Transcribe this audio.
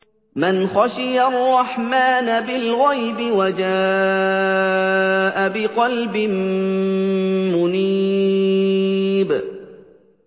مَّنْ خَشِيَ الرَّحْمَٰنَ بِالْغَيْبِ وَجَاءَ بِقَلْبٍ مُّنِيبٍ